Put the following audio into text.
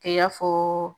Kɛ i y'a fɔ